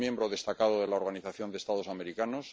es miembro destacado de la Organización de Estados Americanos